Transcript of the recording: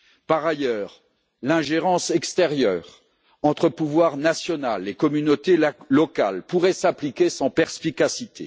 Par ailleurs, l'ingérence extérieure entre pouvoir national et communautés locales pourrait s'appliquer sans perspicacité.